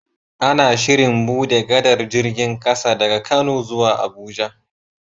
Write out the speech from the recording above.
Ana Shirin buɗe gadar jirgin ƙasa daga kano zuwa abuja